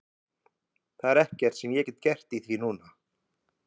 Það er ekkert sem ég get gert í því núna,